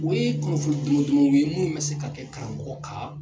O ye kunnafoni tɔmɔ tɔmɔw ye munun bɛ se ka kɛ karamɔgɔ kan